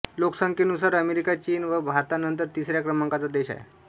लोकसंख्येनुसार अमेरिका चीन व भारतानंतर तिसऱ्या क्रमांकाचा देश आहे